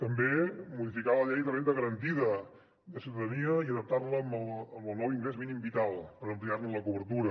també modificar la llei de renda garantida de ciutadania i adaptar la amb el nou ingrés mínim vital per ampliar ne la cobertura